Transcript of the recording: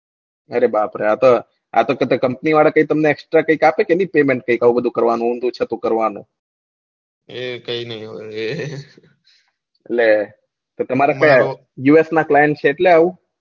અરે બાપરે આતો આતો કઈ કંપની વાળા કઈ તમને કઈ એક્સ્ટ્રા કઈ આપેકે પેમેન્ટ આવું બધુ કરવાનું ઊંડાઘુ ચતુ કરવાનું એ કઈ ની એ લે તો તમે કઈ us ના ક્લાઈન્ટ છે એટલે આવું